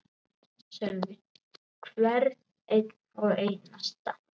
Sölvi: Hvern einn og einasta?